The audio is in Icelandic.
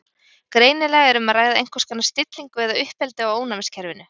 Greinilega er um að ræða einhvers konar stillingu eða uppeldi á ónæmiskerfinu.